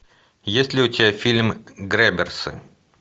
есть ли у тебя фильм грэбберсы